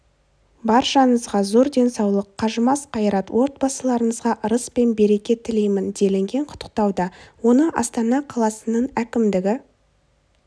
баршаңызға зор денсаулық қажымас қайрат отбасыларыңызға ырыс пен береке тілеймін делінген құттықтауда оны астана қаласының әкімдігі